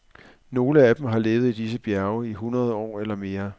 Nogle af dem har levet i disse bjerge i hundrede år eller mere.